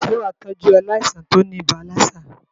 Sé wàá tọ́jú aláìsàn tí óní ibà lassa?